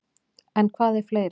En hvað er fleira?